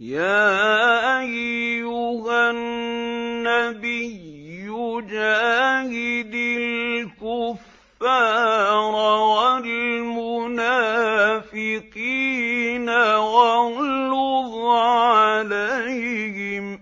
يَا أَيُّهَا النَّبِيُّ جَاهِدِ الْكُفَّارَ وَالْمُنَافِقِينَ وَاغْلُظْ عَلَيْهِمْ ۚ